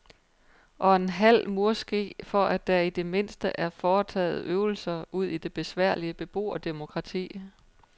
Og en halv murske for at der i det mindste er foretaget øvelser udi det besværlige beboerdemokrati.